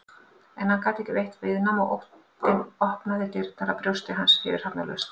En hann gat ekki veitt viðnám og óttinn opnaði dyrnar að brjósti hans fyrirhafnarlaust.